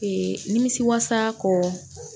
nimisi wasa kɔ